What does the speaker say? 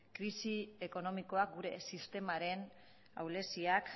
krisi ekonomikoak gure sistemaren ahuleziak